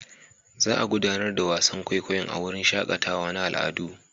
Za a gudanar da wasan kwaikwayon a wurin shakatawa na al'adu.